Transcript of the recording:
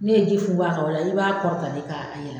N'e ye ji funfun a ka, o la i b'a kɔrɔta de k'a yɛlɛ.